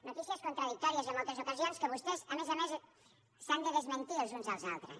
notícies contradictòries en moltes ocasions en què vostès a més a més s’han de desmentir els uns als altres